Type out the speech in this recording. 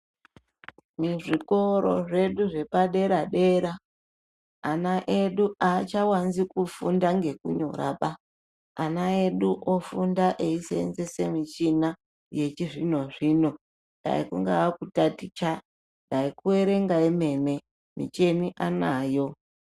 Muzvikora zvedu zvepadera-dera ana edu achanyanyi kufunda ngekunyoraba, ana edu ofunda eiseenzesa michina yechizvino-zvino dai kungaa kutaticha dai kuerenga vemene michini anayo.